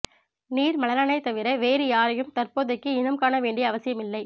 நிர்மலனனைத் தவிர வேறு யாரையும் தற்போதைக்கு இனம் காணவேண்டிய அவசியம் இல்லை